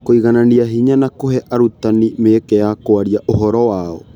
Kũiganania hinya na kũhe arutani mĩeke ya kwaria ũhoro wao